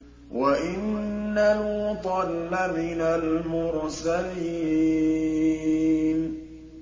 وَإِنَّ لُوطًا لَّمِنَ الْمُرْسَلِينَ